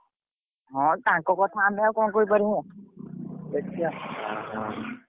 ହଁ ତାଙ୍କ କଥା ଆମେ ଆଉ କଣ କହିପାରିବୁ ଦେଖିଆ